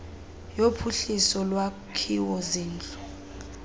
yophuhliso yolwakhiwo zindlu